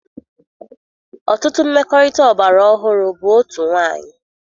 Ọtụtụ mmekọrịta ọgbara ọhụrụ bụ otu nwanyị.